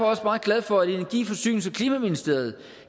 også meget glad for at energi forsynings og klimaministeriet